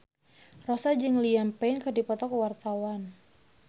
Rossa jeung Liam Payne keur dipoto ku wartawan